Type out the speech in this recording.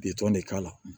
Bitɔn de k'a la